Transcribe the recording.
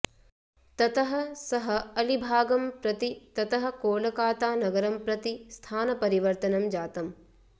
ततः सः अलिभागं प्रति ततः कोलकातानगरं प्रति स्थानपरिवर्तनं जातम्